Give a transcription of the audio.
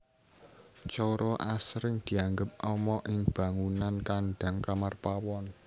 Coro asring dianggep ama ing bangunan kandhang kamar pawon